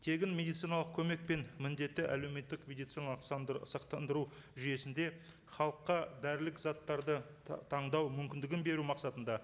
тегін медициналық көмек пен міндетті әлеуметтік медициналық сақтандыру жүйесінде халыққа дәрілік заттарды таңдау мүмкіндігін беру мақсатында